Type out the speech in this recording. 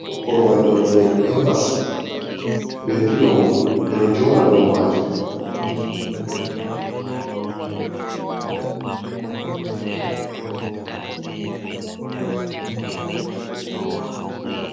Korowal yonete ɗum embasy be filo mun ɓeɗo joɗa dou majum.